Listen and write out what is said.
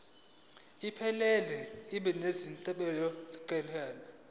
iphelele ibe nezinombolwana